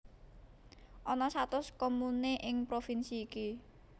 Ana satus komune ing provinsi iki